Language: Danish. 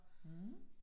Mh